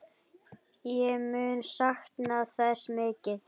Ég mun sakna þess mikið.